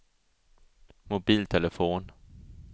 mobiltelefon